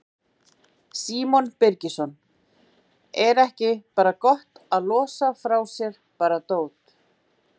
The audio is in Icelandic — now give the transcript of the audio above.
Símon Birgisson: Er ekki bara gott að losa frá sér bara dót?